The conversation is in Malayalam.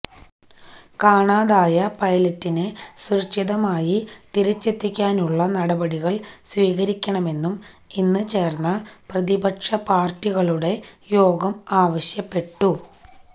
കാണാതായ പൈലറ്റിനെ സുരക്ഷിതമായി തിരിച്ചെത്തിക്കാനുള്ള നടപടികൾ സ്വീകരിക്കണമെന്നും ഇന്ന് ചേർന്ന പ്രതിപക്ഷ പാർട്ടികളുടെ യോഗം ആവശ്യപ്പെട്ടു